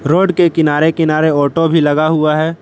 Road के किनारे किनारे ऑटो भी लगा हुआ है।